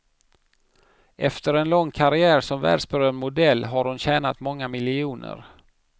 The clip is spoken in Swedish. Efter en lång karriär som världsberömd modell har hon tjänat många miljoner.